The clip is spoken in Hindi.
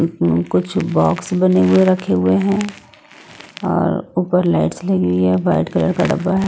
इसमें कुछ बॉक्स बने हुए रखे हुए है और ऊपर लाइट्स लगी हुई है वाइट कलर का डब्बा--